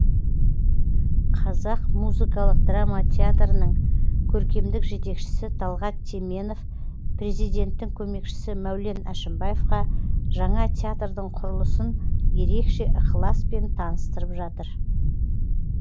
қазақ музыкалық драма театрының көркемдік жетекшісі талғат теменов президенттің көмекшісі мәулен әшімбаевқа жаңа театрдың құрылысын ерекше ықыласпен таныстырып жатыр